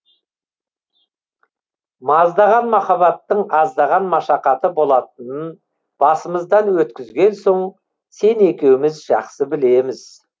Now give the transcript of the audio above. маздаған махаббаттың аздаған машақаты болатынын басымыздан өткізген соң сен екеуміз жақсы білеміз